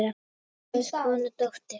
Kúguð kona, dóttir.